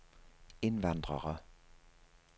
indvandrere